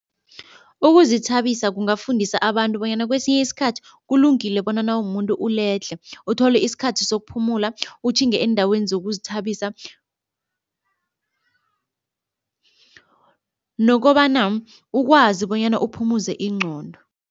Ukuzithabisa kungafundisa abantu bonyana kwesinye isikhathi kulungile bona nawumuntu uledlhe, uthole isikhathi sokuphumula utjhinge eendaweni zokuzithabisa nokobana ukwazi bonyana uphumuze ingqondo.